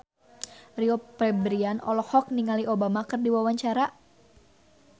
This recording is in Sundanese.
Rio Febrian olohok ningali Obama keur diwawancara